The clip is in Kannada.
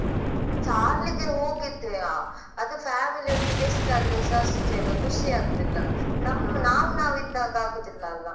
ಚಾರ್ಲಿ ಗೆ ಹೋಗಿದ್ದೆಯಾ ಅದು family ಒಟ್ಟಿಗೆ ಎಷ್ಟಾದ್ರೆಸ ಅಷ್ಟೆ ಅಲ ಖುಷಿ ಆಗುದಿಲ್ಲ ನಮ್ ನಾವ್ ನಾವ್ ಇದ್ದಾಗ ಅಗುದಿಲ್ಲಲಾ.